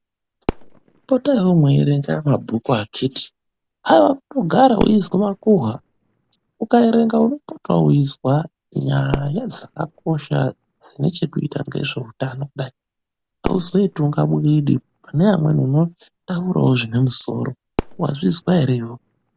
Potaiwo mweiverenga mabhuku akhithi. Haiwa kugara uchizwa makuhwa. Ukaverengawo unopotawo uchizwa nyaya dzakakosha dzinechekuita nezveutano. Hauzoiti kunga bwidi. Pane amweni unotaurawo, zvinemusoro.